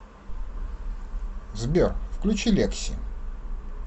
сбер включи лекси